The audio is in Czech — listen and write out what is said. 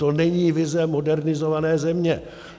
To není vize modernizované země.